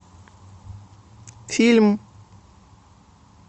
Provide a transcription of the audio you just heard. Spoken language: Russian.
фильм